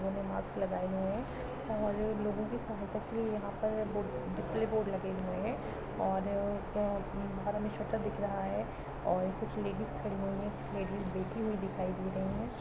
दोनों मास्क लगाए हुए है और लोगों की सहायता के लिए यहाँ पर डिप्ली बोर्ड लगे हुए है और घर हमें छोटा दिख रहा है और कुछ लेडीज खड़े हुए है लेडीज बैठी हुई दिखाई दे रही हैं।